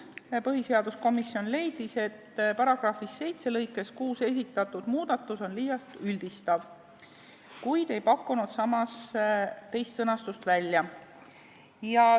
Põhiseaduskomisjon küll leidis, et §-s 7 lõikes 6 esitatud muudatus on liialt üldistav, kuid ei pakkunud samas teist sõnastust välja.